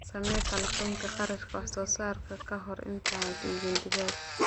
Samee falanqaynta kharashka wax soo saarka ka hor inta aanad iibin digaag.